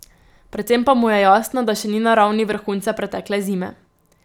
Predvsem pa mu je jasno, da še ni na ravni vrhunca pretekle zime.